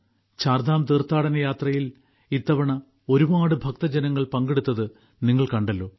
ചാർധാം തീർഥാടനയാത്രയിൽ ഇത്തവണ ഒരുപാട് ഭക്തജനങ്ങൾ പങ്കെടുത്തത് നിങ്ങൾ കണ്ടല്ലോ